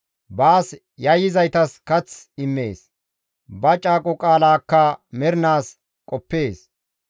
Baas yayyizaytas kath immees; ba caaqo qaalaakka mernaas qoppees.